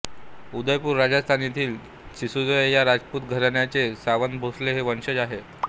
उदेपूर राजस्थान येथील सिसोदिया या राजपूत घराण्याचे सावंतभोसले हे वंशज आहेत